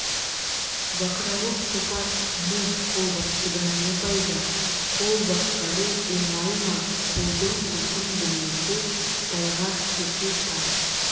бақырауық топас ми қолбасшыдан не пайда қол басқару оңай ма қолдың құлқын білмесе тайғақ кешу тар